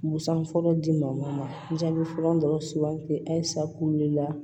Busan fɔlɔ dimɔfɔrɔn dɔrɔn sugandi halisa kulu de la